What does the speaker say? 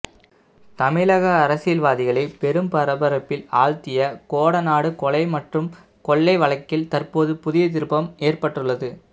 தமிழக அரசியல்வாதிகளை பெரும் பரபரப்பில் ஆழ்த்திய கோடநாடு கொலை மற்றும் கொள்ளை வழக்கில் தற்போது புதிய திருப்பம் ஏற்பட்டுள்ளது